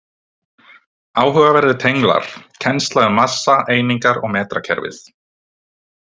Áhugaverðir tenglar: Kennsla um massa, einingar og metrakerfið.